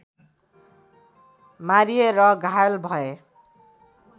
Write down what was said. मारिए र घायल भए